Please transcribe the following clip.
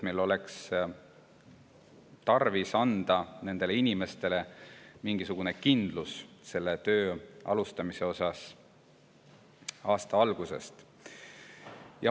Meil oleks tarvis anda nendele inimestele mingisugune kindlus, et töö algab aasta algusest.